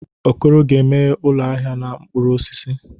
Okoro ga-emeghe ụlọ ahịa n'ahịa mkpụrụ osisi.